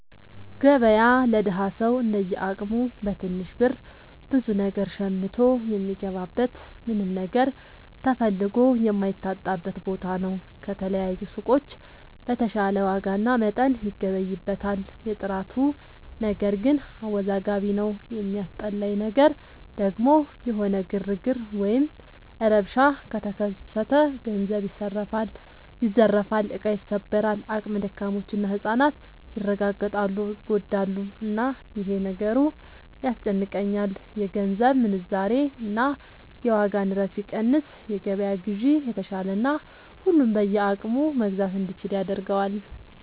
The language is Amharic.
ገበያ ለደሀ ሰው እንደየ አቅሙ በትንሽ ብር ብዙ ነገር ሸምቶ የሚገባበት ምንም ነገር ተፈልጎ የማይታጣበት ቦታ ነው። ከተለያዩ ሱቆች በተሻለ ዋጋና መጠን ይገበይበታል። የጥራቱ ነገር ግን አወዛጋቢ ነው። የሚያስጠላኝ ነገር ደግሞ የሆነ ግርግር ወይም ረብሻ ከተከሰተ ገንዘብ ይዘረፋል፣ እቃ ይሰበራል፣ አቅመ ደካሞች እና ህፃናት ይረጋገጣሉ (ይጎዳሉ)፣እና ይሄ ነገሩ ያስጨንቀኛል። የገንዘብ ምንዛሬ እና የዋጋ ንረት ቢቀንስ የገበያ ግዢ የተሻለና ሁሉም በየአቅሙ መግዛት እንዲችል ያደርገዋል።